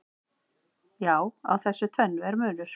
Já, á þessu tvennu er munur.